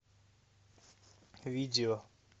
видео